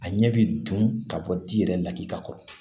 A ɲɛ bɛ dun ka bɔ di yɛrɛ lakibakɔrɔ